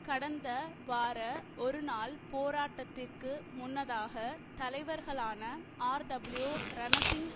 கடந்த வார ஒரு நாள் போராட்டத்திற்கு முன்னதாக தலைவர்களான ஆர்டபிள்யூ ரணசிங்